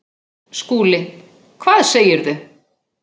SKÚLI: Hvað segirðu?